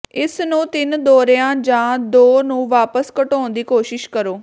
ਇਸ ਨੂੰ ਤਿੰਨ ਦੌਰਿਆਂ ਜਾਂ ਦੋ ਨੂੰ ਵਾਪਸ ਘਟਾਉਣ ਦੀ ਕੋਸ਼ਿਸ਼ ਕਰੋ